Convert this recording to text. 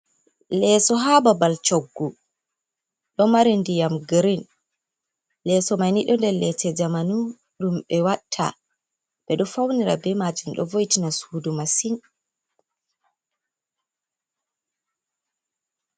Leeso ha babal choggu, do mari diyam giren leeso maini ɗo nɗer leese jamanu ɗum ɓe watta, ɓe ɗo faunira be majom ɗo voitina sudu masin.